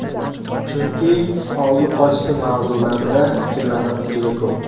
Chunki oldi-qochdi mavzularda filmlarimiz juda ko‘p.